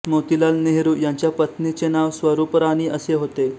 मोतीलाल नेहरू ह्यांच्या पत्नीचे नाव स्वरूपराणी असे होते